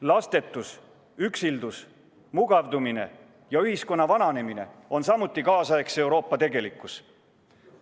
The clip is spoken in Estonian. Lastetus, üksildus, mugavdumine ja ühiskonna vananemine on samuti kaasaegse Euroopa tegelikkus.